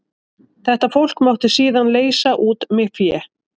Þetta fólk mátti síðan leysa út með fé.